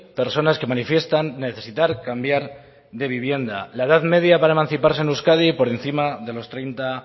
personas que manifiestan necesitar cambiar de vivienda la edad media para emanciparse en euskadi por encima de los treinta